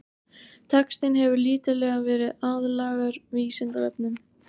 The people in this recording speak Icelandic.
Textinn hefur lítillega verið aðlagaður Vísindavefnum.